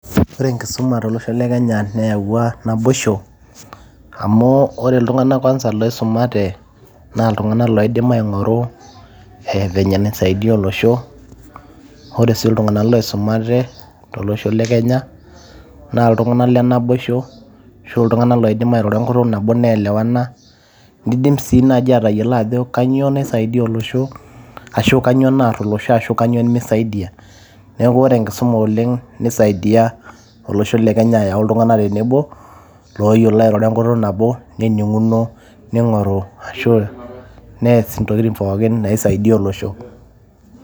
Ore enkisuma to losho le kenya neyawua naboisho amuu ore iltung'anak CS[kwanza]CS loisumate naa iltung'anak loidim aing'oru CS[venye]CS naisaidia olosho ore sii iltung'anak loisumate to losho le kenya na iltung'anak le naboisho arashu iltung'anak loidim airoro enkutuk mabo nielewana niidim sii naji atayolo ajo kanyoo naisaidia olosho arashu kanyoo naar olosho arashu kanyoo nemisaidia neeku ore enkisuma oleng' neisaidia olosho le kenya ayau iltung'anak tenebo looyiolo airoro enkutuk nabo nening'uno neing'oru arashu ees intokitin pooki naisaidia olosho.